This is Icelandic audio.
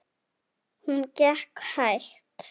Hún gekk hægt.